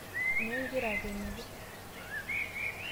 Nyoo igira akweniki?